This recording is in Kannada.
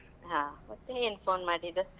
ಹಾ. ಮತ್ತೇ, ಏನ್ phone ಮಾಡಿದ್ದು?